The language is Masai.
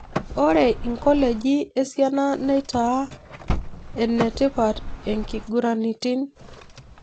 Ore inkoleji esiana neitaa enetipat enkiguraitin